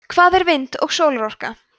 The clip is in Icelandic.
hvað eru vind og sólarorka